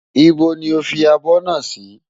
Íbo ni o fi abọ́ náà sí?